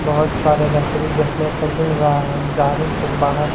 बहोत सारे देखने को मिल रहा है ते बाहर--